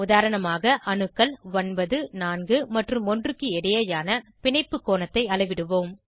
உதாரணமாக அணுக்கள் 9 4 மற்றும் 1 க்கு இடையேயான பிணைப்பு கோணத்தை அளவிடுவோம்